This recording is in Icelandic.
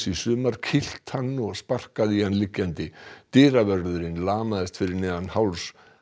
í sumar kýlt hann og sparkað í hann liggjandi dyravörðurinn lamaðist fyrir neðan háls